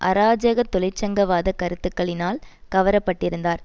அராஜக தொழிற்சங்கவாத கருத்துகளினால் கவரப்பட்டிருந்தார்